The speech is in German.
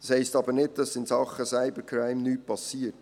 Das heisst aber nicht, dass in Sachen Cyber crime nichts passiert.